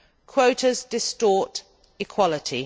Quotas distort equality.